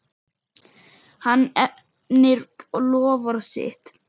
Hann efnir loforð sitt.